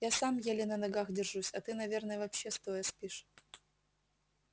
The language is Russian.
я сам еле на ногах держусь а ты наверное вообще стоя спишь